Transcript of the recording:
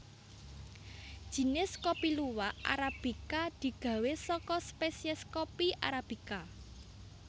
Jinis kopi luwak arabika digawé saka spèsiès kopi arabica